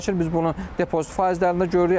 Biz bunu depozit faizlərində görürük.